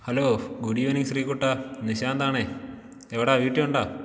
Hello good evening Sree കുട്ടാ. നിശാന്താണേ എവിടാ വീട്ടിലുണ്ടോ?